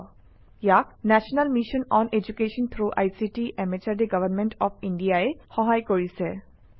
ইয়াক national mission on education through ICT MHRD government of India ই সহায় কৰিছে